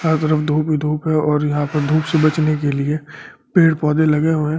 यह तरफ धूप ही धूप है और यहां पर धूप से बचने के लिए पेड़ पौधे लगे हुए हैं।